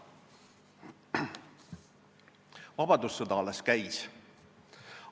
Vabadussõda alles käis.